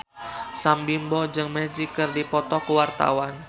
Sam Bimbo jeung Magic keur dipoto ku wartawan